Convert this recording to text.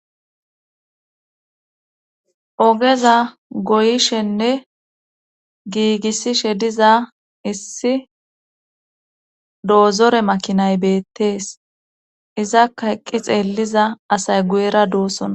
ogeza goyishenne giigissishe diza issi doozore makinay beettees izaka eqqi xeelliza asay guyera duussona